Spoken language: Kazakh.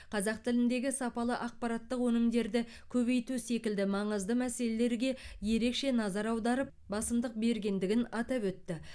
қазақ тіліндегі сапалы ақпараттық өнімдерді көбейту секілді маңызды мәселелерге ерекше назар аударып басымдық бергендігін атап өтті